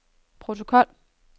protokol